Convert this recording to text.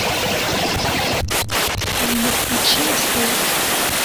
полина включи стс